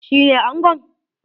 Shi ne angon?